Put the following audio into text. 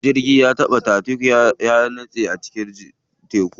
Jirgin tatanik ya taɓa nitsewa a cikin teku.